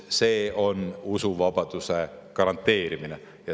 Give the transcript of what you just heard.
See on usuvabaduse garanteerimine.